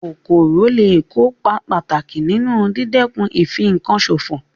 Kòkòrò lé è kópa pàtàkì nínu dídẹ̀kun ìfinkan sòfò